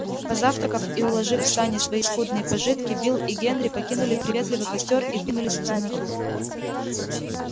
позавтракав и уложив в сани свои скудные пожитки билл и генри покинули приветливый костёр и двинулись в темноту